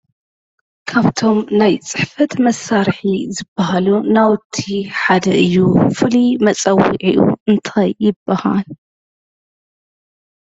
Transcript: ካብቶሞ ናይ ፅሕፈት መሳርሒ ዝባሃሉ ናውቲ ሓደ እዩ። ፍሉዩ መፀዊዒኡ እንታይ ይባሃል?